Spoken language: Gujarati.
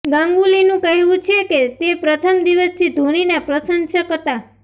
ગાંગુલીનું કહેવું છે કે તે પ્રથમ દિવસથી ધોનીના પ્રશંસક હતા